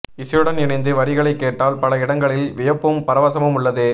இசையுடன் இணைந்து வரிகளைக் கேட்டால் பல இடங்களில் வியப்பும் பரவசமும் உள்ளது